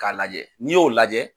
K'a lajɛ n'i y'o lajɛ